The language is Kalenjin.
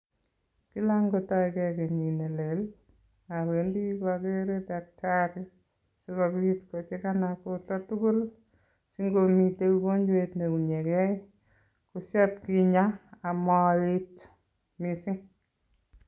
Kila ngotoikei kenyit nelel awendi pokere daktari sikobit kochekana borto tugul si ngomite ugonjwet neunyekei, koshoipkenya amaet mising.